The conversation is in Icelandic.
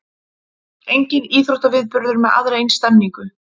Enginn íþróttaviðburður með aðra eins stemningu